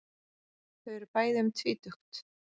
Þau eru bæði um tvítugt.